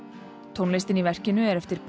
tónlistin í verkinu er eftir